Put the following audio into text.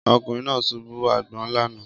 Ọkùnrin náà ṣubú àgbọn lánàá